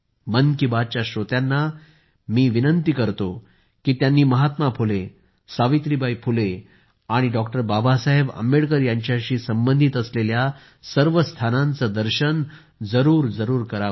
मन की बात च्या श्रोत्यांना मी आग्रह करतो की त्यांनी महात्मा फुले सावित्रीबाई फुले आणि बाबासाहेब आंबेडकर यांच्याशी संबंधित असलेल्या सर्व स्थानांचे दर्शन जरूर करावं